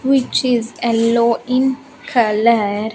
Which is yellow in color.